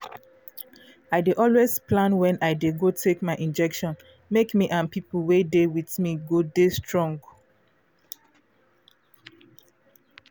i no go lie to take injection been dey fear until i come know say come know say e dey cure fast